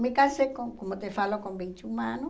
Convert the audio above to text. Me casei, com como te falo, com vinte e um anos.